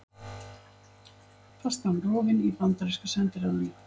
Fastan rofin í bandaríska sendiráðinu